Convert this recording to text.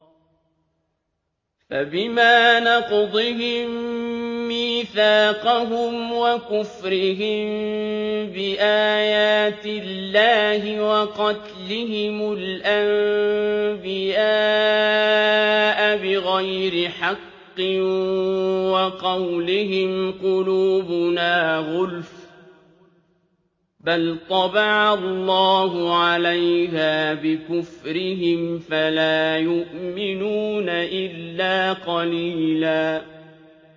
فَبِمَا نَقْضِهِم مِّيثَاقَهُمْ وَكُفْرِهِم بِآيَاتِ اللَّهِ وَقَتْلِهِمُ الْأَنبِيَاءَ بِغَيْرِ حَقٍّ وَقَوْلِهِمْ قُلُوبُنَا غُلْفٌ ۚ بَلْ طَبَعَ اللَّهُ عَلَيْهَا بِكُفْرِهِمْ فَلَا يُؤْمِنُونَ إِلَّا قَلِيلًا